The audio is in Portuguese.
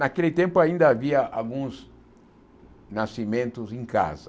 Naquele tempo ainda havia alguns nascimentos em casa.